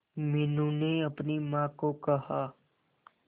मीनू ने अपनी मां को कहा